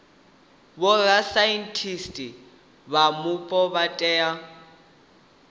vhorasaintsi vha mupo vha tea